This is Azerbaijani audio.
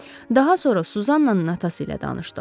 Daha sonra Suzannanın atası ilə tanışdıq.